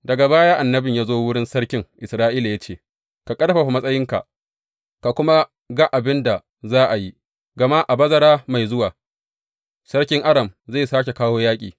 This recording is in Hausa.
Daga baya, annabin ya zo wurin sarkin Isra’ila ya ce, Ka ƙarfafa matsayinka ka kuma ga abin da za a yi, gama a bazara mai zuwa sarkin Aram zai sāke kawo yaƙi.